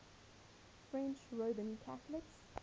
french roman catholics